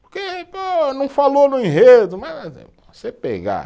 Porque não falou no enredo, você pegar